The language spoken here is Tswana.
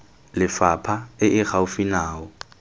lefapha e e gaufi nao